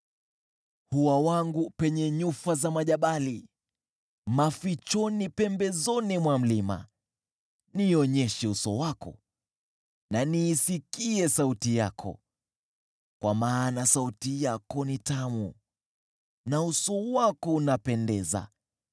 Hua wangu penye nyufa za majabali, mafichoni pembezoni mwa mlima, nionyeshe uso wako, na niisikie sauti yako, kwa maana sauti yako ni tamu, na uso wako unapendeza.